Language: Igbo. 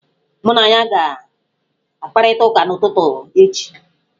Mụ na ya ga-akparịta ụka n'ụtụtụ echi.